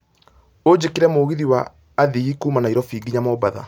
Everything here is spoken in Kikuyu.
Ũnjĩkĩre mũgithi wa athii kuuma Nairobi nginya mombatha